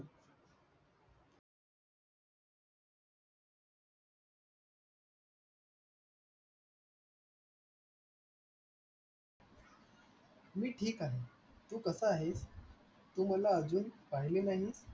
मी ठीक आहे तू कसा आहेस, तू मला अजून पहिले नाही